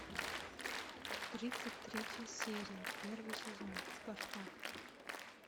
тридцать третья серия первый сезон спартак